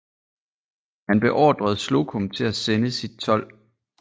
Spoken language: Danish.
Han beordrede Slocum til at sende sit 12